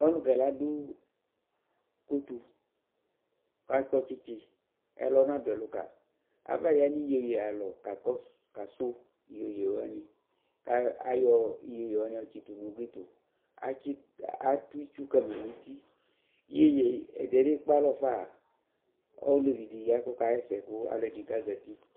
ɔlʋkɛ ladʋ kɔtɔ kʋ akɔ tsitsi ɛlɔ nadʋ ɛlʋ kayi abaya nʋ iyɛyɛ alɔ kasʋ yɛyɛ wani kʋ ayɔ yɛyɛ wani yɔ tsitʋ nʋ ʋgli tʋ, atʋ itsʋ kama nʋ ʋti iyɛ ɛdiɛ lɛ kpè alɔ ƒa ɔlɛvi di la kʋ ɔkayɛsɛ kʋ alʋdini zati